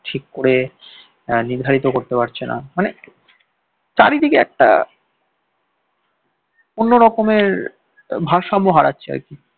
ঠিক করে নির্ধারিত করতে পারছে না মানে চারিদিকে একটা অন্যরকমের ভারসাম্য হারাচ্ছে আর কি